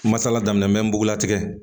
Masala daminɛn mɛn nugulatigɛ